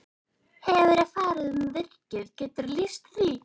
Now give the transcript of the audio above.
Hefurðu farið um virkið, geturðu lýst því?